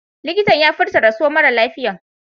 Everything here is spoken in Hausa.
Likitan ya furta rasuwan mara lafiyan.